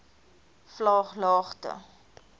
vlaaglagte